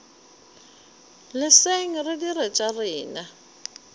leseng re dire tša rena